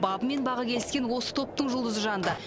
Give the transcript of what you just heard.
бабы мен бағы келіскен осы топтың жұлдызы жанды